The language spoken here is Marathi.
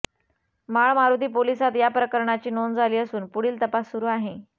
माळमारुती पोलिसांत या प्रकरणाची नोंद झाली असून पुढील तपास सुरू आहे